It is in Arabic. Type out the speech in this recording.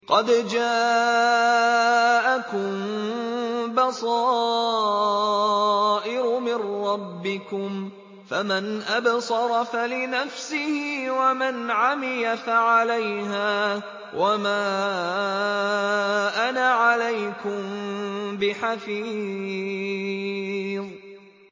قَدْ جَاءَكُم بَصَائِرُ مِن رَّبِّكُمْ ۖ فَمَنْ أَبْصَرَ فَلِنَفْسِهِ ۖ وَمَنْ عَمِيَ فَعَلَيْهَا ۚ وَمَا أَنَا عَلَيْكُم بِحَفِيظٍ